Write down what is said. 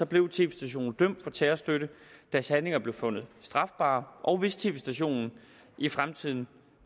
blev tv stationen dømt for terrorstøtte deres handlinger blev fundet strafbare og hvis tv stationen i fremtiden